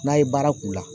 N'a ye baara k'u la